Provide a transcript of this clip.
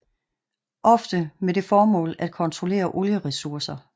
Ofte med det formål at kontrollere olieressourcer